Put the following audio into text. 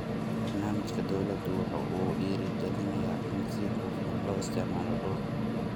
Barnaamijka dawladu waxa uu dhiiri galinayaa in si hufan loo isticmaalo dhulka.